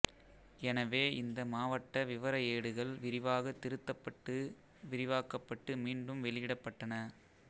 எனவே இந்த மாவட்ட விவர ஏடுகள் விரிவாக திருத்தப்பட்டு விரிவாக்கப்பட்டு மீண்டும் வெளியிடப்பட்டன